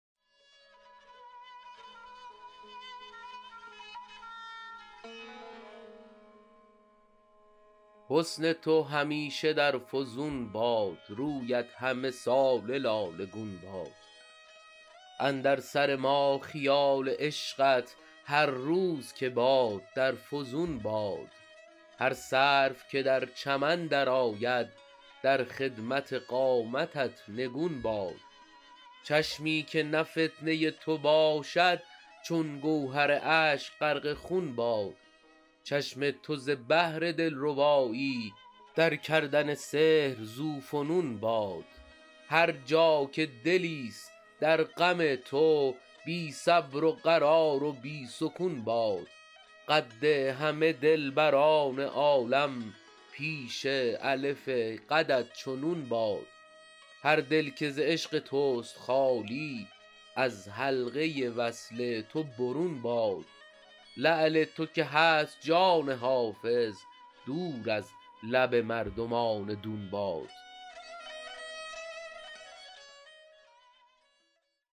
حسن تو همیشه در فزون باد رویت همه ساله لاله گون باد اندر سر ما خیال عشقت هر روز که باد در فزون باد هر سرو که در چمن درآید در خدمت قامتت نگون باد چشمی که نه فتنه تو باشد چون گوهر اشک غرق خون باد چشم تو ز بهر دلربایی در کردن سحر ذوفنون باد هر جا که دلیست در غم تو بی صبر و قرار و بی سکون باد قد همه دلبران عالم پیش الف قدت چو نون باد هر دل که ز عشق توست خالی از حلقه وصل تو برون باد لعل تو که هست جان حافظ دور از لب مردمان دون باد